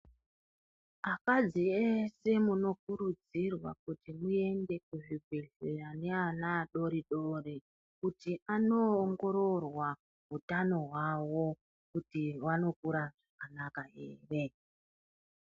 Akadzi ese munokurudzirwa kuti muende kuzvibhedhlera neana adodori kuti anoongororwa hutano hwawo, kuti wanokura zvakanaka here.